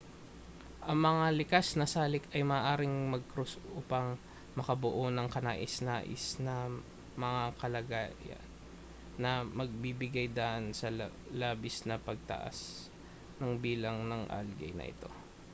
ang mga likas na salik ay maaaring magkrus upang makabuo ng kanais-nais na mga kalagayan na magbibigay-daan sa labis na pagtaas ng bilang ng algae na ito